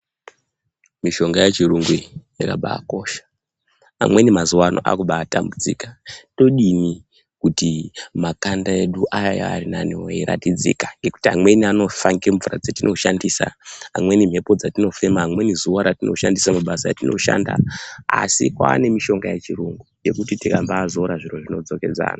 Mishonga yechirungu iyi yakabaakosha amweni mazuva ano akubaitambudzika todini kuti makanda edu ayaa arinaniwo eyiratidzika nekuti amweni anofa nemvura dzatinoshandisa amweni mhepo dzatinofema amweni zuva ratino shandisa mabasa atinoshanda aya asi kwaane mishonga yechirungu yekuti tikambaizora zviri zvinodzokedzana.